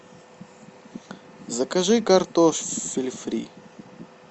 закажи картофель фри